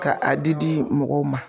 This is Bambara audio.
Ka a di di mɔgɔw ma.